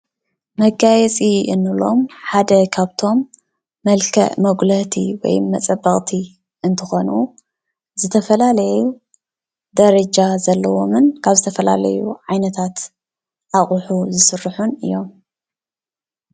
መጋየፂ እንብሎም ሓደ ካብቶም መልክዕ መጉልህቲ ወይ መፀበቅቲ እትኮኑ ዝተፈላለየ ደረጃ ዘለዎምን ካብ ዝተፈላለዩ ዓይነታት ኣቅሑ ዝስርሑ እዮም፡፡